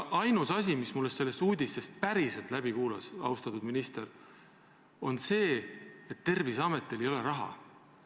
Ainus asi, mis mulle sellest uudisest päriselt läbi kumas, austatud minister, on see, et Terviseametil ei ole raha.